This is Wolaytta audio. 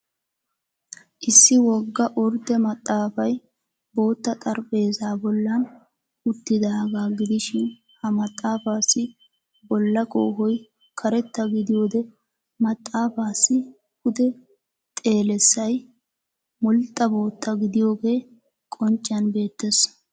Issi wogga ordde maxxaafay bootta xarapheezza bollan uttidaagaa gidishin ha maxaafaassi bolla koohoy karetta gidiyode maxaafaassi pude xeelliyasay mulxxa bootta gidiyogee qoncciyan beettees.